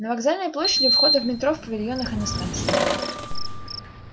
на вокзальной площади у входа в метро в павильонах и на станциях